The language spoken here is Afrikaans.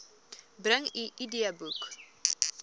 bring u idboek